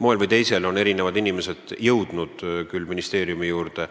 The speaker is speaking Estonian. Moel või teisel on erinevad inimesed jõudnud küll ministeeriumi juurde,